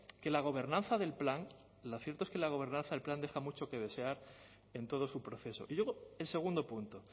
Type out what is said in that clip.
que la gobernanza del plan lo cierto es que la gobernanza el plan deja mucho que desear en todo su proceso y luego el segundo punto